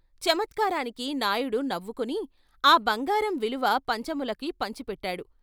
చమత్కారానికి నాయుడు నవ్వుకుని ఆ బంగారం విలువ పంచములకు పించి పట్టాడు.